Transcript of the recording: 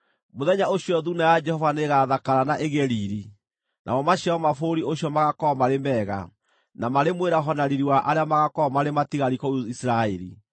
Mũthenya ũcio Thuuna ya Jehova nĩĩgathakara na ĩgĩe riiri, namo maciaro ma bũrũri ũcio magaakorwo marĩ mega, na marĩ mwĩraho na riiri wa arĩa magaakorwo marĩ matigari kũu Isiraeli!